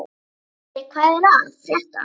Freysteinn, hvað er að frétta?